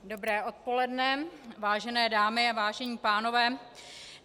Dobré odpoledne, vážené dámy a vážení pánové.